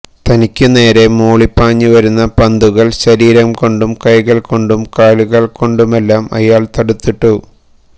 തനിക്കു നേരെ മൂളിപ്പാഞ്ഞു വരുന്ന പന്തുകള് ശരീരം കൊണ്ടും കൈകള് കൊണ്ടും കാലുകൊണ്ടുമെല്ലാം അയാള് തടുത്തിട്ടു